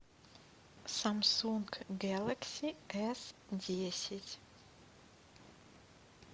самсунг гэлакси эс десять